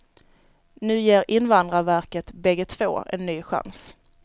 Nu ger invandrarverket bägge två en ny chans.